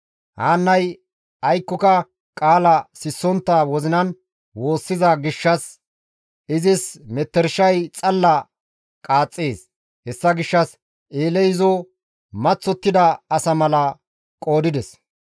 Haannay aykkoka qaala sissontta wozinan woossiza gishshas izis metershay xalla qaaxxees. Hessa gishshas Eeley izo maththottida asa mala qoodides.